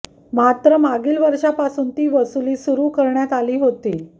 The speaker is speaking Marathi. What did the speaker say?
मात्र मागील वर्षांपासून ती वसुली सुरू करण्यात आली होती